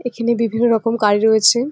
এখনে বিভিন্ন রকম কার রয়েছে।